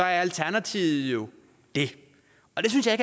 er alternativet jo det og det synes jeg